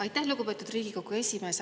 Aitäh, lugupeetud Riigikogu esimees!